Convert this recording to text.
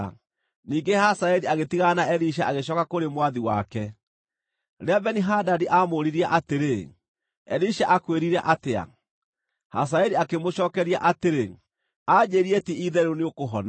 Ningĩ Hazaeli agĩtigana na Elisha agĩcooka kũrĩ mwathi wake. Rĩrĩa Beni-Hadadi aamũũririe atĩrĩ, “Elisha akwĩrire atĩa?” Hazaeli akĩmũcookeria atĩrĩ, “Anjĩĩrire ti-itherũ nĩũkũhona.”